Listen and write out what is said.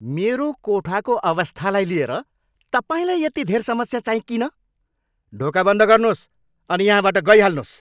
मेरो कोठाको अवस्थालाई लिएर तपाईँलाई यति धेर समस्या चाहिँ किन? ढोका बन्द गर्नुहोस् अनि यहाँबाट गइहाल्नुहोस्।